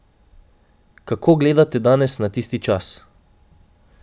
Kako gledate danes na tisti čas?